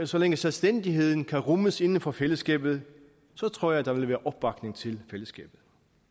så længe selvstændigheden kan rummes inden for fællesskabet tror jeg der vil være opbakning til fællesskabet